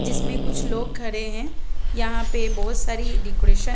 जिसमे कुछ लोग खड़े है यहाँ पे बहोत सारी डेकोरेशन --